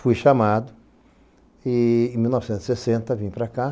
Fui chamado e, em mil novecentos e sessenta , vim para cá.